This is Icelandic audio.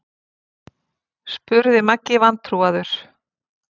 spurði Maggi vantrúaður.